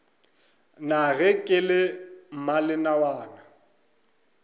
na ge ke le mmalenawana